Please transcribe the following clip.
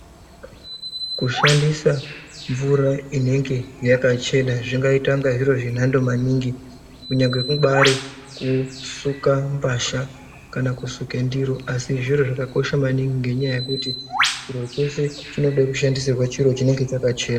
Kushandisa mvura inenge yakachena zvingaita inga zviro zvenhando maningi kunyange kubaari kusuka mbahla kana kusuka ndiro asi zviro zvakakosha maningi ngenyaya yekuti chiro chese chinode kushandisirwe chiro chakachena.